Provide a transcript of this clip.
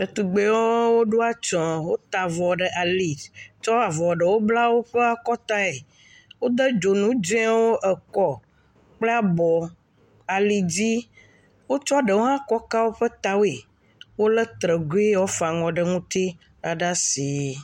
Ɖetugbuiwo ɖɔ atsye. Wota avɔ ɖe ali, tsɔ avɔa ɖewo kɔ bla woƒe akɔ tea, wode dzonu dzɛ ekɔ kple abɔ, alidzi. Wokɔ ɖewo hã kɔ ka woƒe ta woe. Wole trɛ gui yike wofa aŋɔ ne la ɖe asi.